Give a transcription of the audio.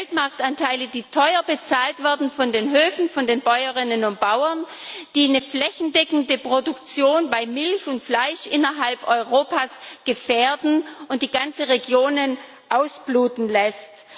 Weltmarktanteile, die teuer bezahlt werden von den Höfen, von den Bäuerinnen und Bauern, die eine flächendeckende Produktion bei Milch und Fleisch innerhalb Europas gefährden und die ganze Regionen ausbluten lassen.